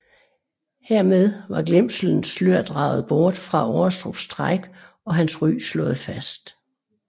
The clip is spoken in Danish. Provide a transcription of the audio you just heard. Hermed var glemselens slør draget bort fra Aarestrups træk og hans ry slået fast